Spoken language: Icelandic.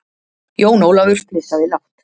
Jón Ólafur flissaði lágt.